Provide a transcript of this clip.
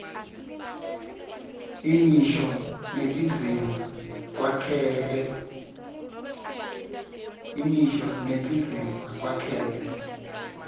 imisho netindzima kwakheke